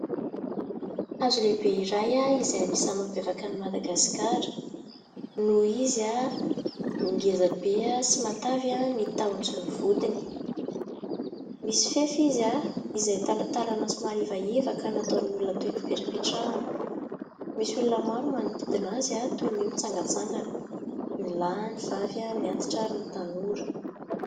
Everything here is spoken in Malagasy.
Hazo lehibe iray izay anisany mampiavaka ny Madagasikara ; noho izy ny ngeza be sy matavy ny tahony sy ny vodiny, misy fefy izy izay talantalana ; somary ivaiva ka nataon'ny olona toeram-pipetrapetrahana, misy olona maro manodidina azy toy ny mitsangatsangana ny lahy, ny vavy, ny antitra ary ny tanora.